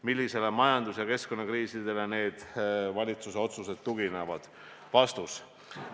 Millistele majandus- ja keskkonnaanalüüsidele need valitsuse otsused tuginevad?